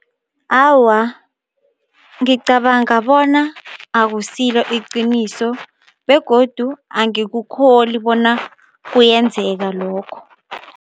Awa, ngicabanga bona akusilo iqiniso begodu angikukholi bona kuyenzeka lokho.